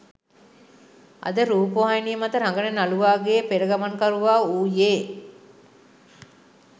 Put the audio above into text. අද රූපවාහිනිය මත රඟන නළුවාගේ පෙරගමන්කරුවා වූයේ